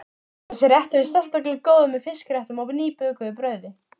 Þessi réttur er sérlega góður með fiskréttum og nýbökuðu brauði.